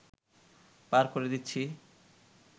পার করে দিচ্ছি